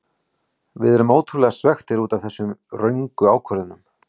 Við erum ótrúlega svekktir útaf þessum röngu ákvörðunum.